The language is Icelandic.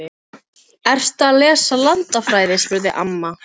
Ertu að lesa landafræði? spurði amma.